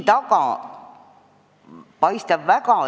Palun!